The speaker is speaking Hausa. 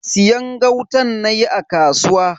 Siyan gautan nayi a kasuwa.